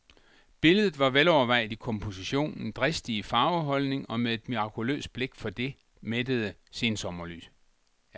Billedet var velovervejet i kompositionen, dristig i farveholdning og med et mirakuløst blik for det mættede sensommerlys.